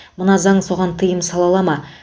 мына заң соған тыйым сала ала ма